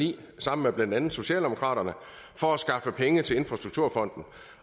ni sammen med blandt andet socialdemokraterne for at skaffe penge til infrastrukturfonden